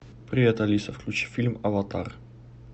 привет алиса включи фильм аватар